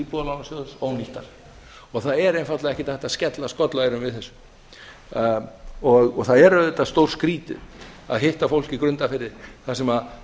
íbúðalánasjóðs ónýttar og það er einfaldlega ekkert hægt að skella skollaeyrum við þessu það er auðvitað stórskrýtið að hitta mann í grundarfirði þar sem